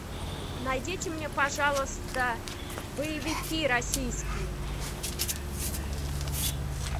найдите мне пожалуйста боевики российские